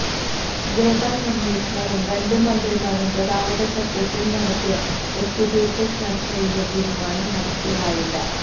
labour കമ്മീഷണറും രണ്ട് മന്ത്രിമാരും ഗതാഗത സെക്രട്ടറിയും നടത്തിയ ഒത്തുതീര്പ്പ് ചര്ച്ചയിലെ തീരുമാനം നടപ്പിലായില്ല